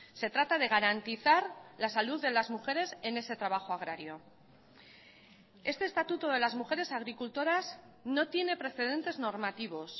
se trata de garantizar la salud de las mujeres en ese trabajo agrario este estatuto de las mujeres agricultoras no tiene precedentes normativos